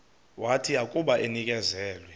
wathi akuba enikezelwe